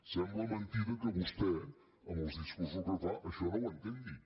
sembla mentida que vostè amb els discursos que fa això no ho entengui